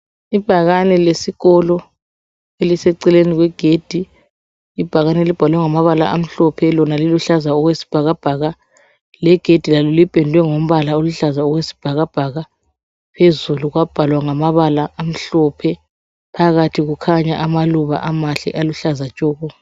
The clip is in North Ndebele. Ibhakane lesikolo eliseceleni kwegedi ibhakane libhalwe ngamabala amhlophe lona liluhlaza okwesibhakabhaka legedi lalo lipedwe ngobhala oluhlaza okwesibhakabhaka phezulu kwabhalwa ngamabala amhlophe phakathi kukhanya amaluba amahle aluhlaza tshoko.